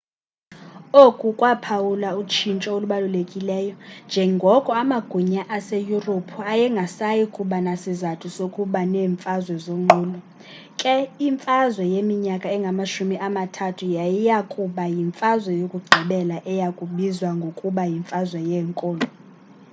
oku kwaphawula utshintsho olubalulekileyo njengoko amagunya aseyurophu ayengasayi kuba nasizathu sokuba neemfazwe zonqulo ke imfazwe yeminyaka engamashumi amathathu yayiya kuba yimfazwe yokugqibela eya kubizwa ngokuba yimfazwe yeenkolo